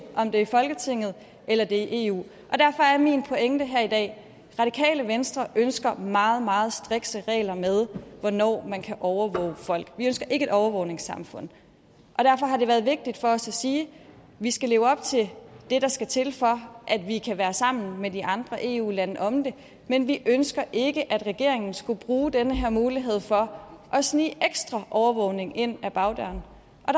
om det er i folketinget eller det er i eu derfor er min pointe her i dag radikale venstre ønsker meget meget strikse regler for hvornår man kan overvåge folk vi ønsker ikke et overvågningssamfund og derfor har det været vigtigt for os at sige at vi skal leve op til det der skal til for at vi kan være sammen med de andre eu lande om det men vi ønsker ikke at regeringen skulle bruge den her mulighed for at snige ekstra overvågning ind ad bagdøren